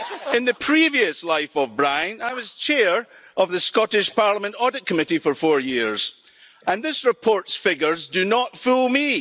In the previous life of Brian, I was Chair of the Scottish Parliament Audit Committee for four years and this report's figures do not fool me.